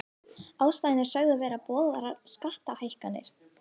Ástæðan er sögð vera boðaðar skattahækkanir